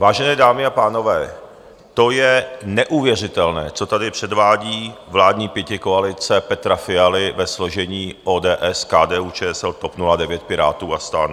Vážené dámy a pánové, to je neuvěřitelné, co tady předvádí vládní pětikoalice Petra Fialy ve složení ODS, KDU-ČSL, TOP 09, Pirátů a STAN.